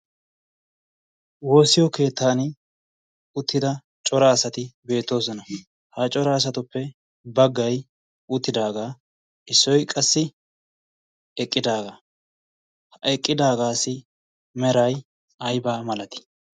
woossiyo keettan uttida cora asati beettoosona. ha cora asatuppe baggay uttidaagaa issoi qassi eqqidaagaa. ha eqqidaagaasi meray aybaa malati?